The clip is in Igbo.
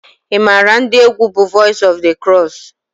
ị maara ndị egwu bú Voice of the Cross?